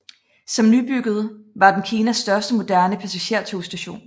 Som nybygget var den Kinas største moderne passagertogstation